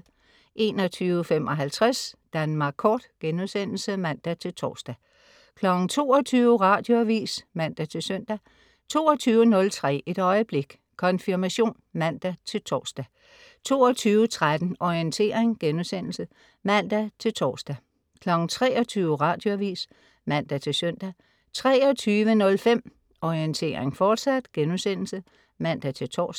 21.55 Danmark Kort* (man-tors) 22.00 Radioavis (man-søn) 22.03 Et øjeblik. Konfirmation (man-tors) 22.13 Orientering* (man-tors) 23.00 Radioavis (man-søn) 23.05 Orientering, fortsat* (man-tors)